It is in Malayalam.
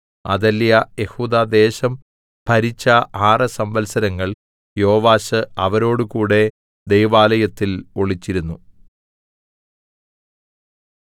അഥല്യാ യെഹൂദാദേശം ഭരിച്ച ആറ് സംവൽസരങ്ങൾ യോവാശ് അവരോട് കൂടെ ദൈവാലയത്തിൽ ഒളിച്ചിരുന്നു